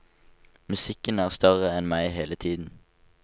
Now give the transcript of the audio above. Musikken er større enn meg hele tiden.